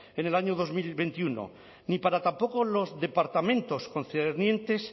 en el año dos mil veintiuno ni para tampoco los departamentos concernientes